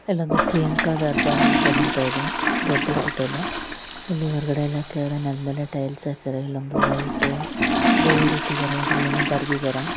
ಇಲ್ಲೊಂದು ಹೋಟೆಲ್ ಅಂತ ಅದ ದೊಡ್ಡ್ ಹೋಟೆಲ್ಲು. ಇಲ್ಲಿ ಹೊರಗಡೆ ಎಲ್ಲ ಗಿಡ ನೆಟ್ ಆಮೇಲೆ ಟೈಲ್ಸ್ ಹಾಕ್ಯಾರ. ಇಲ್ಲೊಂದು ವೈಟ್ ಬೋರ್ಡ್ ಇಟ್ಟಿದಾರೆ ಅಲ್ಲೇನೋ ಬರ್ದಿದಾರೆ.